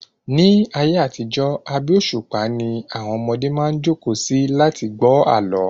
Ní ayé àtijó, abé òṣùpá ni àwọn ọmọdé maá jókòó si láti lẹ gbọ́ àlọ́